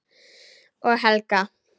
Og Helga.